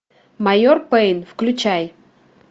майор пейн включай